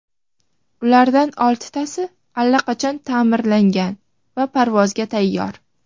Ulardan oltitasi allaqachon ta’mirlangan va parvozga tayyor.